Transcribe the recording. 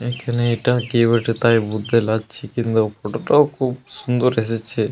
এখানে এটা কে বটে তাই বুঝতে লারছি কিন্তু ফটো -টাও খুব সুন্দর এসেছে।